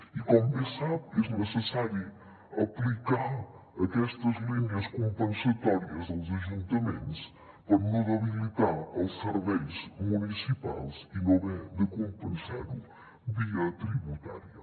i com bé sap és necessari aplicar aquestes línies compensatòries als ajuntaments per no debilitar els serveis municipals i no haver de compensar ho via tributària